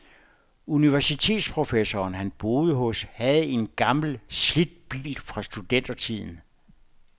Universitetsprofessoren, han boede hos, havde en gammel, slidt bil fra studentertiden.